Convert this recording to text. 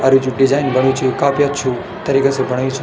अर यू जु डिजाइन बणयू च काफी अच्छु तरीका से बणयू च।